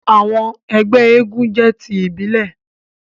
àwọn ẹgbẹ éégún jẹ ti ibile.